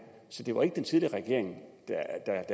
så det var ikke den tidligere regering der